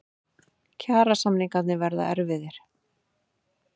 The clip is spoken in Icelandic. Kjarasamningarnir verða erfiðir